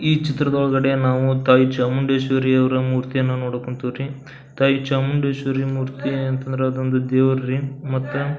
ಈ ಚಿತ್ರದ ಒಳಗಡೆ ನಾವು ತಾಯಿ ಚಾಮುಂಡೇಶ್ವರಿ ಅವ್ರ ಮೂರ್ತಿಯನ್ನು ನೋಡಕ್ ಹೊಂತೀವ್ರಿ ತಾಯಿ ಚಾಮುಂಡೇಶ್ವರಿ ಮೂರ್ತಿ ಅಂತ ಅಂದ್ರ ಅದೊಂದು ದೇವ್ರ್ ರೀ ಮತ್ತ --